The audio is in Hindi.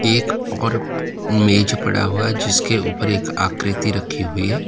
एक और मेज पड़ा हुआ है जिसके ऊपर एक आकृति रखी हुई है।